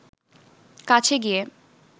কাছে গিয়ে